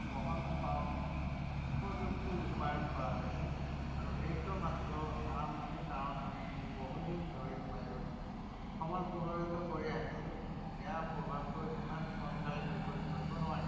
বহনক্ষম প্ৰযুক্তি ৰূপায়ণ কৰা হৈছে। এইটো মাত্ৰ আৰম্ভণি, কাৰণ আমি বহু দিন ধৰি বায়ুৰ সমল প্ৰভাৱিত কৰি আহিছো। বেয়া প্ৰভাৱটো ইমান সোনকালে বিপৰীত কৰিব নোৱাৰি।